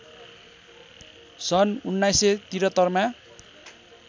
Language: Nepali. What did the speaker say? सन् १९७३ मा